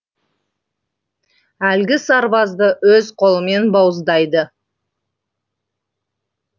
әлгі сарбазды өз қолымен бауыздайды